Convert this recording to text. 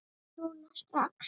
Núna strax?